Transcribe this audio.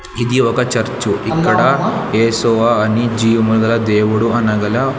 ఇది ఒక చర్చు ఇక్కడ యెషోవా అనే జీవముగా దేవుడు అనగల --